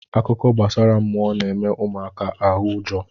Akụkọ gbasara mmụọ na-eme ụmụaka ahụ ụjọ.